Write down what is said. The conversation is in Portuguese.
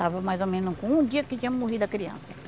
Estava mais ou menos com um dia que tinha morrido a criança.